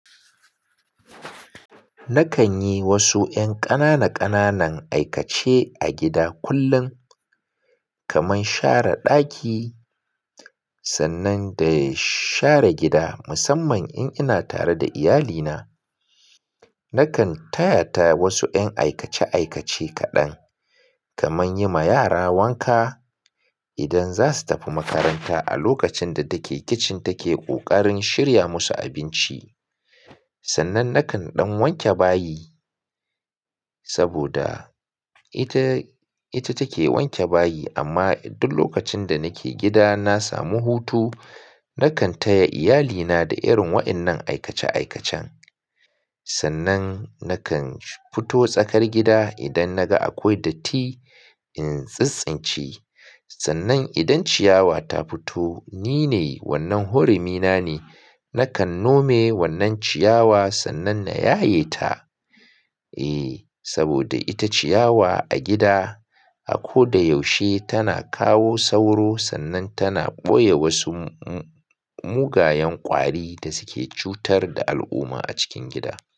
Nakan yi wasu 'yan ƙanana ƙananan aikace a gida kullum, kaman share daki sannan da share gida musamman in ina tare da iyalina. Nakan taya ta wasu 'yan aikace aikace kaɗan, kaman yi ma yara wanka idan za su tafi makaranta a lokacin da da ke kicin take ƙoƙarin shirya musu abinci. Sannan nakan ɗan wanke bayi saboda ita, ita take wanke bayi amma duk lokacin da nake gida na samu hutu, nakan taya iyalina da irin wayannan aikace aikacen. Sannan nakan fito tsakar gida idan naga akwai datti in tsitstsince. Sannan idan ciyawa ta fito, nine wannan hurumi na ne, nakan nome wannan ciyawa sannan na yaye ta. Eh, saboda ita ciyawa a gida a ko da yaushe tana kawo sauro sannan tana ɓoye wasu mu-mugayen ƙwari da suke cutar da al'umma a cikin gida.